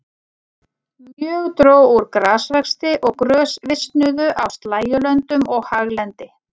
Mjög dró úr grasvexti og grös visnuðu á slægjulöndum og haglendi.